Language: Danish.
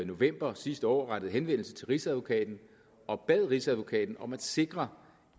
november sidste år rettede henvendelse til rigsadvokaten og bad rigsadvokaten om at sikre